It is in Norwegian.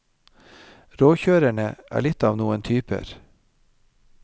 Råkjørerne er litt av noen typer.